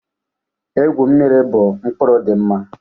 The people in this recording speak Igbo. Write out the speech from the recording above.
Egwu mmiri bụ mkpụrụ dị mma